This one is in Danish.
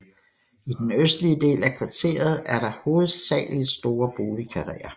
I den østlige del af kvarteret er der hovedsagelig store boligkarreer